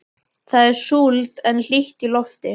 Það er súld en hlýtt í lofti.